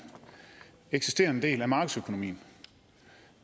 eksisterende del af markedsøkonomien